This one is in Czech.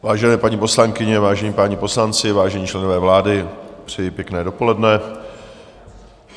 Vážené paní poslankyně, vážení páni poslanci, vážení členové vlády, přeji pěkné dopoledne.